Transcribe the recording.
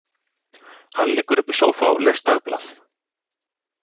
Hann liggur uppi í sófa og les dagblað.